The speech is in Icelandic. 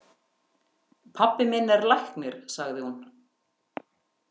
Pabbi minn er læknir, sagði hún.